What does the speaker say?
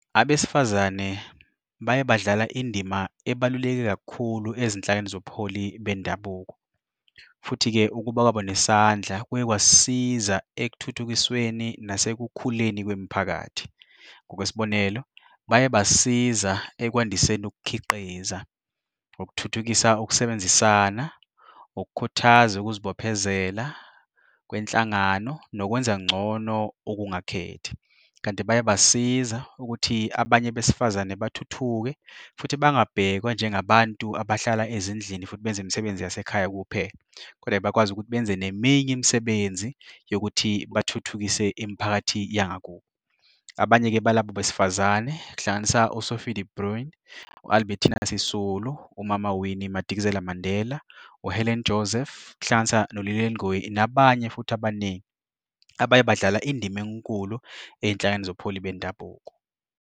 Abesifazane baye badlala indima ebaluleke kakhulu ezinhlakeni zobuholi bendabuko, futhi-ke ukuba kwabo nesandla kuye kwasisiza ekuthuthukisweni nasekukhuleni kwemiphakathi. Ngokwesibonelo, baye basiza ekukwandiseni ukukhiqiza, ukuthuthukisa ukusebenzisana, ukukhuthaza ukuzibophezela kwenhlangano nokwenza ngcono okungakhethi kanti baye basiza ukuthi abanye besifazane bathuthuke futhi bangabhekwa njengabantu abahlala ezindlini futhi benze imisebenzi yasekhaya kuphela, koda bakwazi ukuthi benze neminye imisebenzi yokuthi bathuthukise imiphakathi yangakubo. Abanye-ke balabo besifazane kuhlanganisa uSophia De Bruyn, u-Albertina Sisulu, umama Winnie Madikizela-Mandela, uHelen Joseph, kuhlanganisa noLilian Ngoyi nabanye futhi abaningi abaye badlala indima enkulu ey'nhlakeni zobuholi bendabuko.